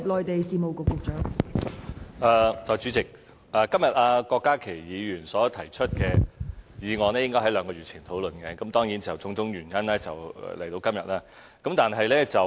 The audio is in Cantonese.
代理主席，今天郭家麒議員所提出的議案，本應該在兩個月前討論，但因為種種原因，到今天才討論。